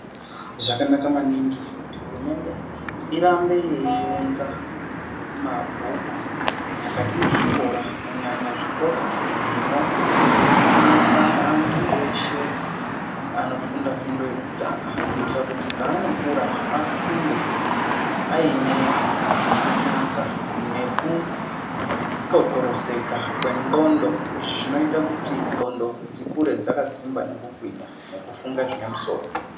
Zvakanaka maningi kuti hurumende irambe yeiunza mabhuku mukati mwezvikora, kunyanya zvikora zvinofundisa antu eshe anofunda fundo yekutanga, kuitira kuti paanokura afunde aine kunaka nekuxoxoroseka kwenxondo. Izvi zvinoita kuti nxondo dzikure dzakasimba nekugwinya, nekufunge zvine musoro.